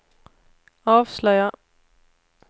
avslöjar